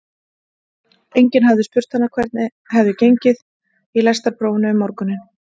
Enginn hafði spurt hana hvernig henni hefði gengið í lestrarprófinu um morguninn.